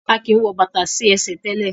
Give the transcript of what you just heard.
A kin wò bàtá sí ẹsẹ̀ tẹlẹ.